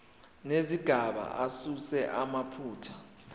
nezigaba asuse amaphutha